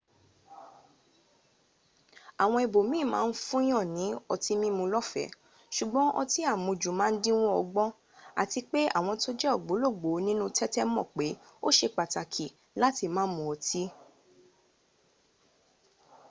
awo ibo min ma n funyan ni oti mimu lofe sugbon oti amuju ma n dinwo ogbon ati pe awon to je ogbologbo ninu tete moo pe o se pataki lati ma mu oti